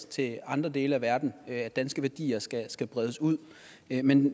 til andre dele af verden at danske værdier skal skal bredes ud men